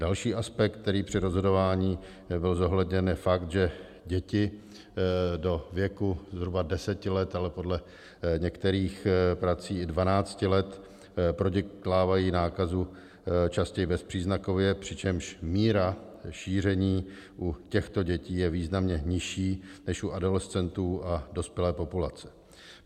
Další aspekt, který při rozhodování byl zohledněn, je fakt, že děti do věku zhruba deseti let, ale podle některých prací i 12 let, prodělávají nákazu častěji bezpříznakově, přičemž míra šíření u těchto dětí je významně nižší než u adolescentů a dospělé populace.